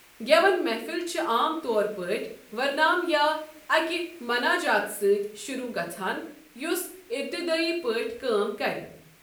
گٮ۪وَن محفل چھِ عام طور پٲٹھۍ ورنام یا اَکہِ ماناجات سۭتۍ شروع گژھان یُس ابتِدٲیی پٲٹھۍ کٲم کرِ۔